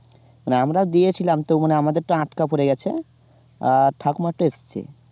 আমরাও দিয়েছিলাম তো আমাদেরটা আটকা পড়ে গেছে আ ঠাকুমারটা এসছে।